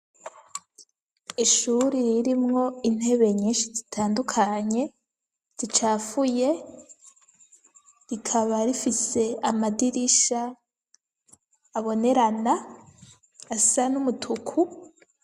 Ishure irimwo intebe nyinshi zitandukanye zicafuye rikaba rifise amadirisha abonerana, asa n'umutuku .